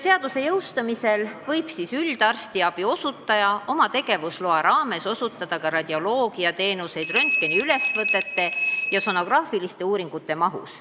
Seaduse jõustumisel võib üldarstiabi osutaja oma tegevusloa raames osutada ka radioloogiateenuseid röntgeniülesvõtete ja sonograafiliste uuringute mahus.